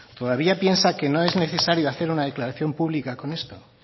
todavía piensa que no es necesario hacer una declaración pública con esto